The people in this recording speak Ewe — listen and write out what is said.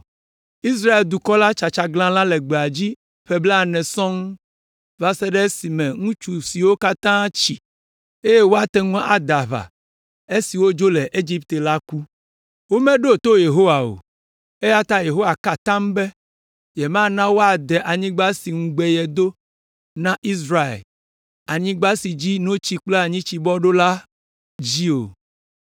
Israel dukɔ la tsa tsaglalã le gbedzi ƒe blaene sɔŋ va se ɖe esime ŋutsu siwo katã tsi, eye woate ŋu ade aʋa esi wodzo le Egipte la ku. Womeɖo to Yehowa o, eya ta Yehowa ka atam be yemana woade anyigba si ŋugbe yedo na Israel, “Anyigba si dzi notsi kple anyitsi bɔ ɖo” la dzi o.